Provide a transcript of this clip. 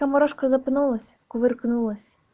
морошка запнулась кувыркнулась